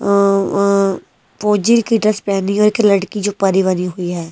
औ-अं-फौजी की ड्रेस पहनी और एक लड़की जो परी बनी हुई है।